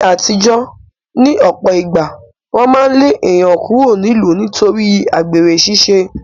Ní aàtijọ́, ní ọ̀pọ̀ ìgbà, wọn máa ń lé èèyàn kúrò nílùú nítorí àgbèrè ṣiṣẹ́